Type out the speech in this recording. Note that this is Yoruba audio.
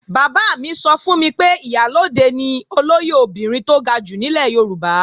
Bàbá mi sọ fún mi pé Ìyálóde ni olóyè obìnrin tó ga jù nílẹ̀ Yorùbá